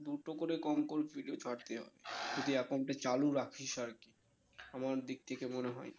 দুটো করে কম করে video ছাড়তে হবে যদি account টা চালু রাখিস আরকি আমার দিক থেকে মনে হয়